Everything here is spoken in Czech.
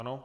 Ano.